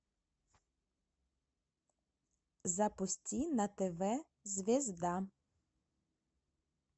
запусти на тв звезда